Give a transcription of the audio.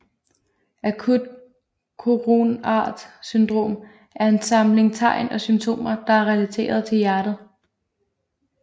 Akut koronart syndrom er en samling tegn og symptomer der er relateret til hjertet